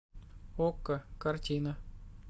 окко картина